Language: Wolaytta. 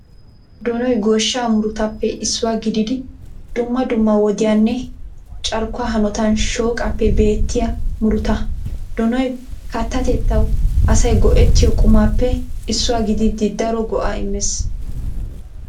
Donoy goshsha murutappe issuwa gididi dumma dumma woddiyanne carkkuwaa hanotan shooqappe beettiya muruta. Donoy kattatettawu asay go'ettiyo qumappe issuwa giddid daro go'a immes.